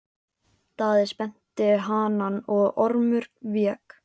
Daði spennti hanann og Ormur vék.